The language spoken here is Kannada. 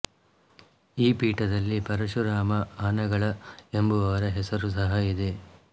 ಈ ಪೀಠದಲ್ಲಿ ಪರಶುರಾಮ ಅನಗಳ ಎಂಬುವವರ ಹೆಸರು ಸಹ ಇದೆ